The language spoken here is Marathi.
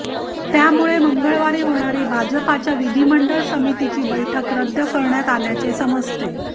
त्यामुळे मंगळवारी होणारी भाजपच्या विधिमंडळ समितीची बैठक रद्द करण्यात आल्याचे समजते